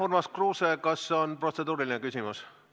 Urmas Kruuse, kas on protseduuriline küsimus?